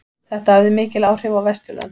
Þetta hafði mikil áhrif á Vesturlöndum.